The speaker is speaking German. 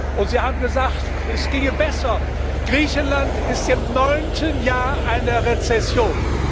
Und Sie haben gesagt, es ginge besser Griechenland ist im neunten Jahr einer Rezession!